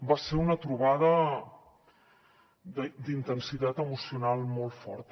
va ser una trobada d’intensitat emocional molt forta